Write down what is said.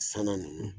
Sanna ninnu